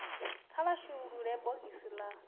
kha vha shulule bogisi la